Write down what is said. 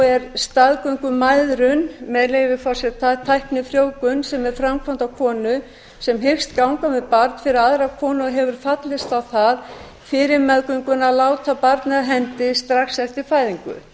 er staðgöngumæðrun með leyfi forseta tæknifrjóvgun sem er framkvæmd á konu sem hyggst ganga með barn fyrir aðra konu og hefur fallist á það fyrir meðgönguna að láta barnið af hendi strax eftir fæðingu